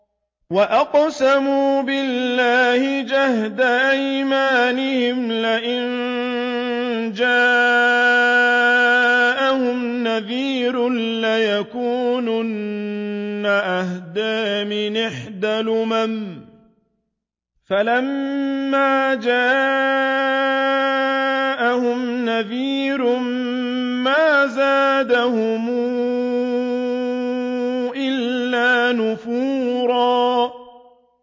وَأَقْسَمُوا بِاللَّهِ جَهْدَ أَيْمَانِهِمْ لَئِن جَاءَهُمْ نَذِيرٌ لَّيَكُونُنَّ أَهْدَىٰ مِنْ إِحْدَى الْأُمَمِ ۖ فَلَمَّا جَاءَهُمْ نَذِيرٌ مَّا زَادَهُمْ إِلَّا نُفُورًا